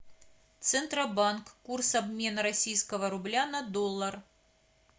центробанк курс обмена российского рубля на доллар